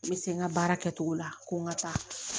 N bɛ se n ka baara kɛcogo la ko n ka ca